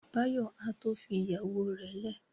Báyọ̀ á tó fi ìyàwó rẹ̀ lẹ̀